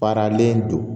Baaralen don